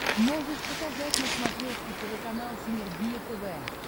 можешь показать на смотрешке телеканал синергия тв